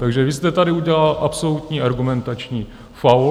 Takže vy jste tady udělala absolutní argumentační faul.